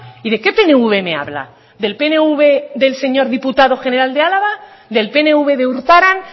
y de qué pnv me habla del pnv del señor diputado general de álava del pnv de urtaran